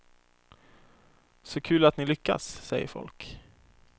Så kul att ni lyckas, säger folk.